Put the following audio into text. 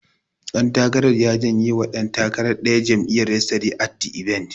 Ɗan takarar ya jenye wa ɗan takarar ɗaya jam'iyyar, yesterday at the event.